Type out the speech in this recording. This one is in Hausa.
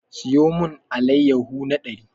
Siyo mun allayahu na ɗari!